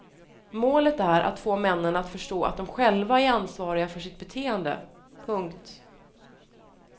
Målet är att få männen att förstå att de själva är ansvariga för sitt beteende. punkt